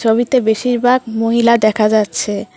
সবই তো বেশিরভাগ মহিলা দেখা যাচ্ছে।